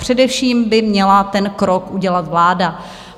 Především by měla ten krok udělat vláda.